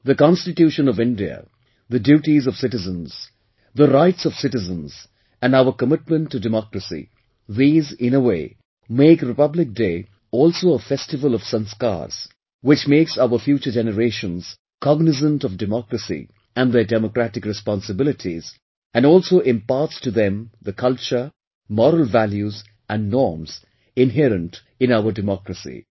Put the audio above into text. The Constitution of India, the duties of citizens, the rights of citizens and our commitment to democracy these in a way make Republic Day also a festival of 'sanskaars', which makes our future generations cognizant of democracy and their democratic responsibilities, and also imparts to them the culture, moral values and norms inherent in our democracy